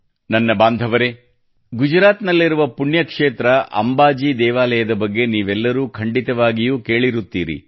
ನನ್ನ ಬಾಂಧವರೇ ಗುಜರಾತ್ ನಲ್ಲಿರುವ ಪುಣ್ಯಕ್ಷೇತ್ರ ಅಂಬಾಜಿ ದೇವಾಲಯದ ಬಗ್ಗೆ ನೀವೆಲ್ಲರೂ ಖಂಡಿತವಾಗಿಯೂ ಕೇಳಿರುತ್ತೀರಿ